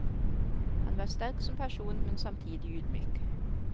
Han var sterk som person, men samtidig ydmyk.